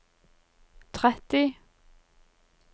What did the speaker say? tretti